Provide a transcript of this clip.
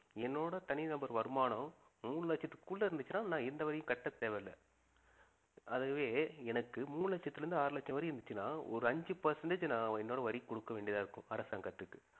என்னோட தனிநபர் வருமானம் மூணு லட்சத்துக்கு உள்ள இருந்துச்சுன்னா நான் எந்த வரியும் கட்டத் தேவையில்லை அதுவே எனக்கு மூணுலட்சத்தில இருந்து ஆறு லட்சம் வரையும் இருந்துச்சுன்னா ஒரு அஞ்சி percentage நான் என்னோட வரி குடுக்க வேண்டியதா இருக்கும் அரசாங்கத்திற்கு